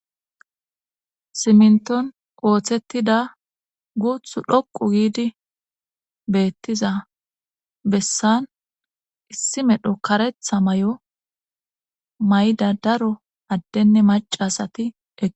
simnton ooththettida guuthu dhoqu giidi beettiza bessan issi medho karetha may7o mayda daro addenne macasati eqe